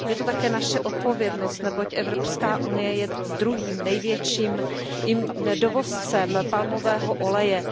Je to také naše odpovědnost, neboť Evropská unie je druhým největším dovozcem palmového oleje.